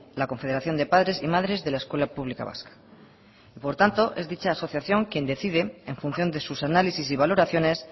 la confederación de padres y madres de la escuela pública vasca por tanto es dicha asociación quien decide en función de sus análisis y valoraciones